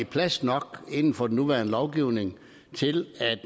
plads nok inden for den nuværende lovgivning til at